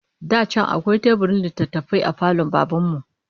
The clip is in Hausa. Da can akwai teburin littattafai a falon Baban mu